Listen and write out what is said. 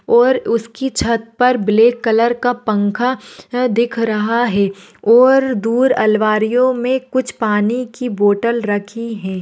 और उसकी छत पर ब्लॅक कलर का पंखा अ दिख रहा है और दूर अल्मारियोमे कुच्छ पानी की बोटल रखी है।